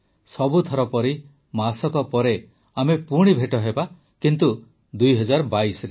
ସବୁଥର ପରି ମାସକ ପରେ ଆମେ ପୁଣି ଭେଟହେବା କିନ୍ତୁ ୨୦୨୨ରେ